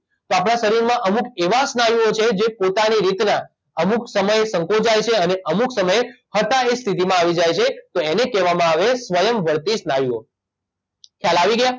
તો આપડા શરીરમાં અમુક એવા સ્નાયુઓ છે જે પોતાની રીતના અમુક સમયે સંકોચાય છે અને અમુક સમયે હતા એ સ્થિતિમાં આવી જાય છે તો એને કહેવામાં સ્વયંવર્તી સ્નાયુઓ ખ્યાલ આવી ગયો